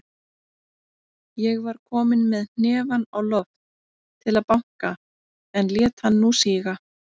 Ég var kominn með hnefann á loft til að banka, en lét hann nú síga.